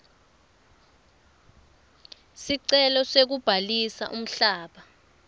sicelo sekubhalisa umhlaba